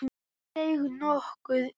Hún seig nokkuð í.